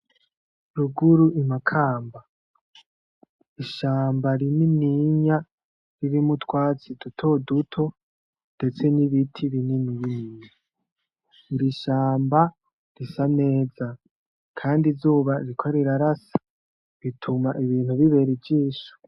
Ruguru imakamba. Ishamba rinininya ririmwo utwatsi duto duto ndetse n'ibiti binini binini. Iri shamba risa neza, kandi izuba ririko rirarasa. Rituma ibintu bibera ijisho.